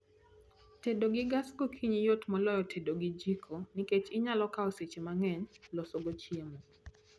Tedo gi gas gokinyi yot moloyo tedo gi jiko nikech inyalo kao seche mang'eny loso go chiemo